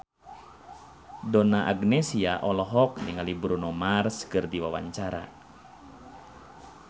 Donna Agnesia olohok ningali Bruno Mars keur diwawancara